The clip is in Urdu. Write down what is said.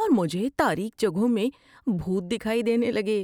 اور مجھے تاریک جگہوں میں بھوت دکھائی دینے لگے۔